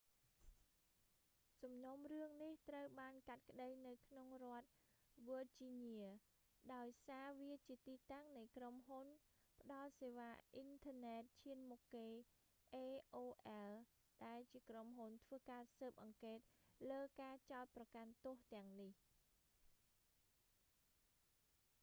សំណុំរឿងនេះ ត្រូវបានកាត់ក្ដីនៅក្នុងរដ្ឋ វើជីញៀ virginia ដោយសារវាជាទីតាំងនៃក្រុមហ៊ុនផ្ដល់សេវាអ៊ីនធឺណិតឈានមុខគេ aol ដែលជាក្រុមហ៊ុនធ្វើការស៊ើបអង្កេតលើការចោទប្រកាន់ទោសទាំងនេះ